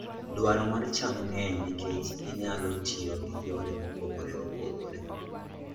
Dwaro mar cham ng'eny nikech ginyalo tiyo gi yore mopogore opogore.